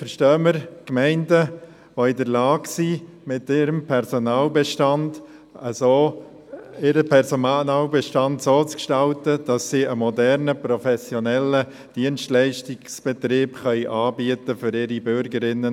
Darunter verstehen wir Gemeinden, die in der Lage sind, ihren Personalbestand so zu gestalten, dass sie für ihre Bürgerinnen und Bürger einen modernen, professionellen Dienstleitungsbetrieb anbieten können.